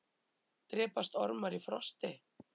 drepast ormar í frosti